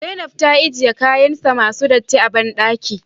Zainab ya ajiye kayansa masu datti a bandaki